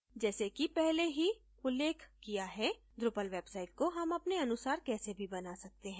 जैसे कि पहले ही उल्लेख किया है drupal website को हम अपने अनुसार कैसे भी बना सकते हैं